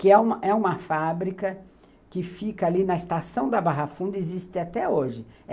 que é uma fábrica que fica ali na Estação da Barrafunda e existe até hoje.